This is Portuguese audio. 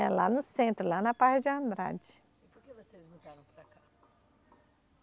É lá no centro, lá na parte de Andrade. E por que vocês mudaram para cá?